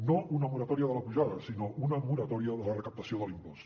no una moratòria de la pujada sinó una moratòria de la recaptació de l’impost